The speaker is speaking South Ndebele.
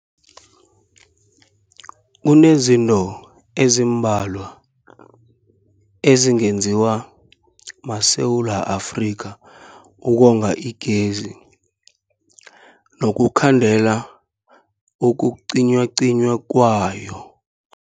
Kunezinto ezimbalwa ezingenziwa maSewula Afrika ukonga igezi nokukhandela ukucinywacinywa kwayo.